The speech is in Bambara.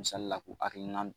misali la k'u hakilina